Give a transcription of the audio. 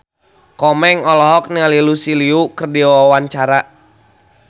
Komeng olohok ningali Lucy Liu keur diwawancara